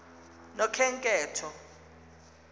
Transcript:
nokhenketho